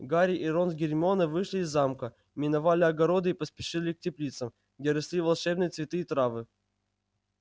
гарри и рон с гермионой вышли из замка миновали огороды и поспешили к теплицам где росли волшебные цветы и травы